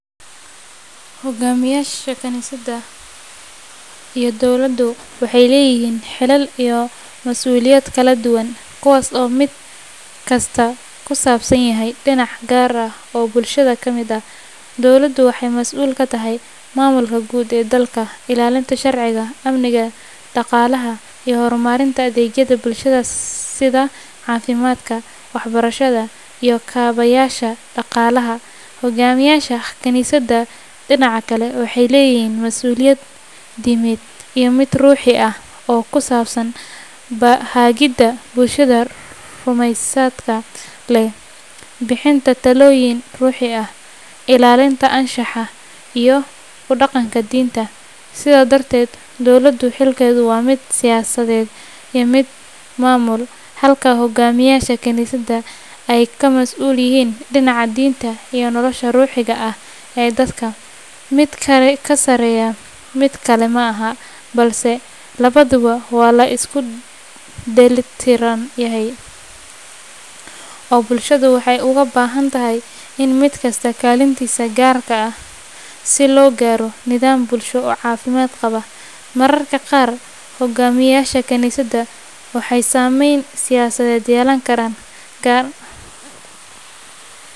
Hoggaamiyayaasha kaniisadda iyo dowladdu waxay leeyihiin xilal iyo masuuliyado kala duwan, kuwaas oo mid kastaa ku saabsan yahay dhinac gaar ah oo bulshada ka mid ah. Dowladdu waxay masuul ka tahay maamulka guud ee dalka, ilaalinta sharciga, amniga, dhaqaalaha, iyo horumarinta adeegyada bulshada sida caafimaadka, waxbarashada, iyo kaabayaasha dhaqaalaha. Hoggaamiyayaasha kaniisadda, dhinaca kale, waxay leeyihiin masuuliyad diimeed iyo mid ruuxi ah oo ku saabsan hagidda bulshada rumaysadka leh, bixinta talooyin ruuxi ah, ilaalinta anshaxa, iyo ku dhaqanka diinta. Sidaa darteed, dowladdu xilkeedu waa mid siyaasadeed iyo mid maamul, halka hoggaamiyayaasha kaniisaddu ay ka masuul yihiin dhinaca diinta iyo nolosha ruuxiga ah ee dadka. Mid ka sarreeya midka kale ma aha, balse labaduba waa la isku dheelitiran yahay oo bulshadu waxay uga baahan tahay mid kasta kaalintiisa gaarka ah si loo gaaro nidaam bulsho oo caafimaad qaba. Mararka qaar hoggaamiyayaasha kaniisadda waxay saameyn siyaasadeed yeelan karaan, gaar.